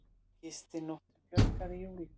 Gistinóttum fjölgaði í júlí